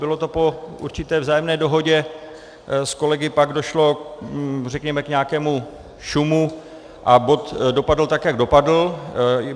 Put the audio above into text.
Bylo to po určité vzájemné dohodě, s kolegy pak došlo řekněme k nějakému šumu a bod dopadl tak, jak dopadl.